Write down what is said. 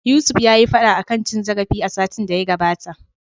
Yusuf yayi fada akan cin zarafi a satin da ya gabata.